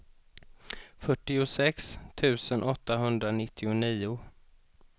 fyrtiosex tusen åttahundranittionio